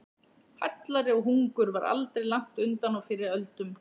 Hallæri og hungur var aldrei langt undan á fyrri öldum.